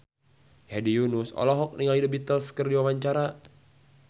Hedi Yunus olohok ningali The Beatles keur diwawancara